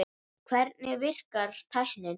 Hvernig virkar tæknin?